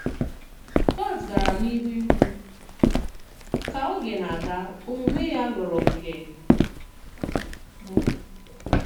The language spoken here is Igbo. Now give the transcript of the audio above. Kùrt gara n'ihu ìkwù: “Kà ògè na-aga, òmume ya ghòrọ nke m.”